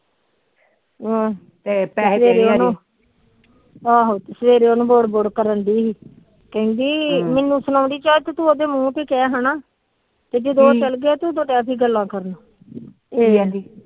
ਅਹ ਪੈਹੇ ਆਹੋ ਸਵੇਰੇ ਉਹਨੂੰ ਬੁੜ ਬੁੜ ਕਰਨਡੀ ਕਹਿੰਦੀ ਮੈਨੂੰ ਸੁਣਾਦੀ ਤੂੰ ਉਹਦੇ ਮੁਹ ਤੇ ਕਹਿ ਹਨਾ ਪ ਜਤ ਉਹ ਚਲਗਾ